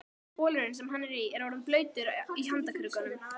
Bolurinn, sem hann er í, er orðinn blautur í handarkrikunum.